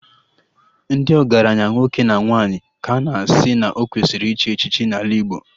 Ndị ọgaranya nwoke na nwaanyị ka a na-asị na ọ kwesịrị ichi echichi n'ala Igbo